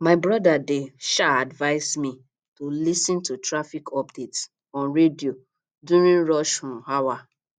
my brother dey um advise me to lis ten to traffic updates on radio during rush um hour